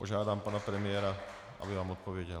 Požádám pana premiéra, aby vám odpověděl.